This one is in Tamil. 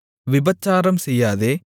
விபசாரம் செய்யாதே